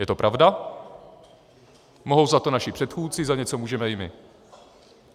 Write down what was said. Je to pravda, mohou za to naši předchůdci, za něco můžeme i my.